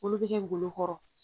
Olu bɛ kɛ golo kɔrɔ.